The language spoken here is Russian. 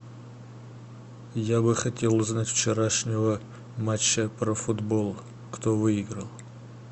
я бы хотел узнать вчерашнего матча про футбол кто выиграл